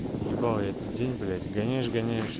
ебал я этот день блять гоняешь-гоняешь